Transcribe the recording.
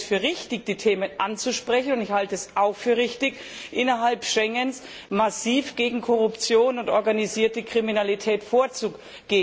Ich halte es für richtig, die Themen anzusprechen, und ich halte es auch für richtig, innerhalb Schengens massiv gegen Korruption und organisierte Kriminalität vorzugehen.